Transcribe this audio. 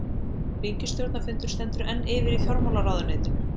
Ríkisstjórnarfundur stendur enn yfir í fjármálaráðuneytinu